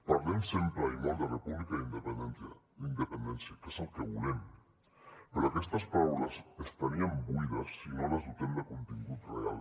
parlem sempre i molt de república i independència que és el que volem però aquestes paraules estarien buides si no les dotem de contingut real